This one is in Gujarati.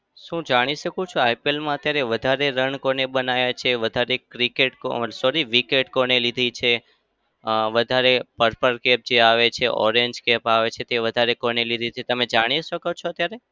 શું હું જાણી શકું છું IPL અત્યારે વધારે રન કોને બનાવ્યા છે? વધારે cricket કોને sorry wicket કોને લીધી છે? અમ વધારે purple cap જે આવે છે orange cap આવે છે તે વધારે કોને લીધી છે? તમે જાણી શકો છો ત્યારે?